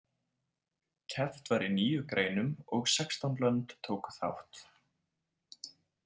Keppt var í níu greinum og sextán lönd tóku þátt.